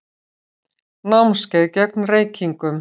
Námskeið gegn reykingum.